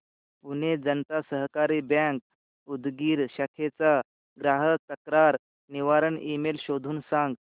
पुणे जनता सहकारी बँक उदगीर शाखेचा ग्राहक तक्रार निवारण ईमेल शोधून सांग